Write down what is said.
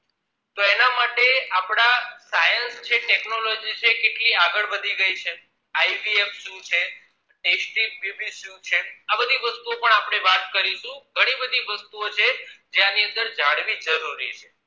Science છે technology છે કેટલી આગળ વધી ગઈ છે IVF શું છે st pyubis શું છે આ બધી વસ્તુઓ પણ આપણે વાત કરીશું ઘણી બધી વસ્તુઓ છે જે આની જાણવી જરૂરી છે